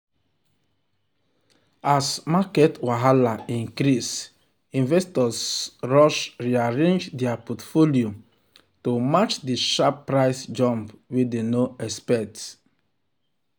um um as market wahala increase investors rush rearrange their portfolio to um match the sharp um price jump wey dem no expect.